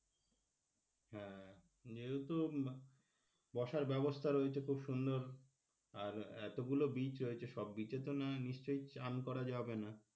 হ্যাঁ যেহেতু বসার ব্যবস্থা রয়েছে খুব সুন্দর আর এতগুলো beach রয়েছে সব beach এ তো না নিশ্চয় চান করা যাবে না.